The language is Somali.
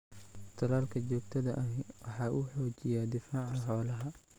Talaalka joogtada ahi waxa uu xoojiyaa difaaca xoolaha.